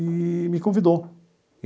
E me convidou.